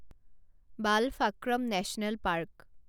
Balphakram national park